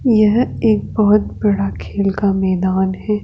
यह एक बहोत बड़ा खेल का मैदान है।